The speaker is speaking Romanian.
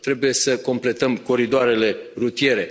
Trebuie să completăm coridoarele rutiere.